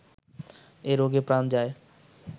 এ রোগে প্রাণ যায়